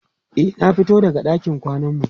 e na fito daga ɗakin kwanan mu